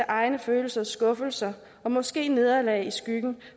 egne følelser og skuffelser og måske nederlag sættes i skyggen